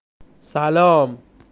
салам